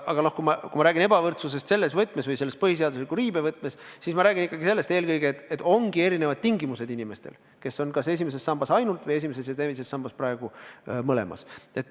Aga kui ma räägin ebavõrdsusest põhiseaduse riive võtmes, siis ma räägin ikkagi sellest eelkõige, et ongi erinevad tingimused inimestel, kes on kas esimeses sambas ainult või esimeses ja teises sambas mõlemas.